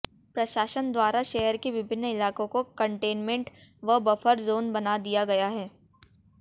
प्रशासन द्वारा शहर के विभिन्न इलाकों को कंटेनमेंट व बफर जोन बना दिया गया है